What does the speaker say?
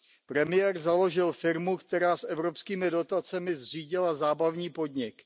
Premiér založil firmu, která s evropskými dotacemi zřídila zábavní podnik.